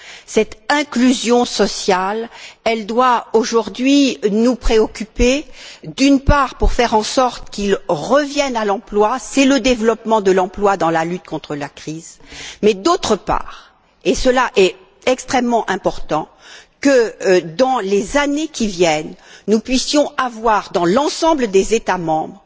Cette inclusion sociale doit aujourd'hui nous préoccuper, d'une part, pour faire en sorte que ces concitoyens reviennent à l'emploi, c'est le développement de l'emploi dans la lutte contre la crise, mais d'autre part, et cela est extrêmement important, que dans les années qui viennent, nous puissions avoir, dans l'ensemble des États membres,